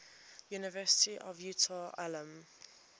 university of utah alumni